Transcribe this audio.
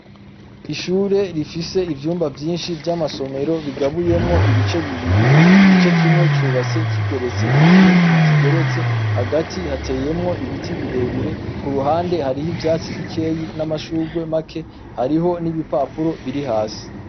Ishure rifise ivyumba vyinshi vy'amasomero bigabuyemwo ibice bibiri ,igice kimwe cubatse kigeretse ikindi ntikigeretse, hagati hateyemwo ibiti birebire k'uruhande harimwo ibya tesi bikeya n'amashurwe make hariho n'ibipapuro biri hasi.